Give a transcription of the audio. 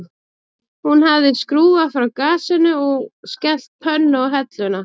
Hún hafði skrúfað frá gasinu og skellt pönnu á helluna